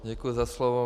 Děkuji za slovo.